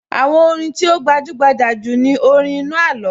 Àwọn orin tí ó gbajúgbajà jù ni orin inú àló